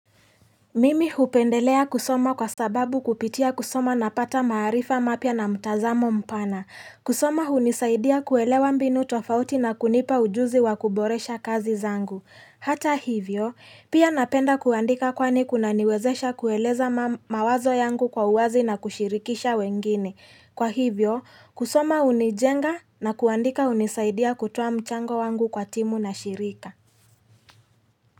Mimi hupendelea kusoma kwa sababu kupitia kusoma na pata maarifa mapya na mtazamo mpana. Kusoma hunisaidia kuelewa mbinu tofauti na kunipa ujuzi wa kuboresha kazi zangu. Hata hivyo, pia napenda kuandika kwani kunaniwezesha kueleza mawazo yangu kwa uwazi na kushirikisha wengine. Kwa hivyo, kusoma hunijenga na kuandika hunisaidia kutoa mchango wangu kwa timu na shirika.